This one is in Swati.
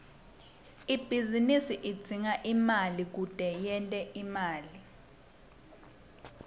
ibhizinisi idzinga imali kute yente imali